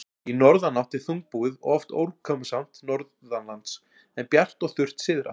Í norðanátt er þungbúið og oft úrkomusamt norðanlands, en bjart og þurrt syðra.